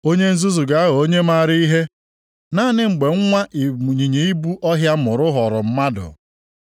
Onye nzuzu ga-aghọ onye maara ihe naanị mgbe nwa ịnyịnya ibu ọhịa mụrụ ghọrọ mmadụ.